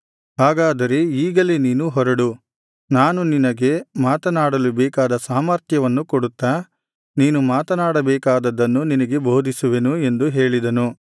ಹಾಗಾದರೆ ಈಗಲೇ ನೀನು ಹೊರಡು ನಾನು ನಿನ್ನಗೆ ಮಾತನಾಡಲು ಬೇಕಾದ ಸಾಮರ್ಥ್ಯವನ್ನು ಕೊಡುತ್ತಾ ನೀನು ಮಾತನಾಡಬೇಕಾದದ್ದನ್ನು ನಿನಗೆ ಬೋಧಿಸುವೆನು ಎಂದು ಹೇಳಿದನು